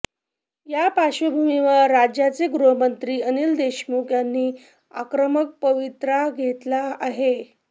या पार्श्वभूमीवर राज्याचे गृहमंत्री अनिल देशमुख यांनी आक्रमक पवित्रा घेतला आहे